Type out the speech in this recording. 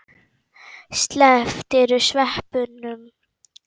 Slepptirðu sveppunum?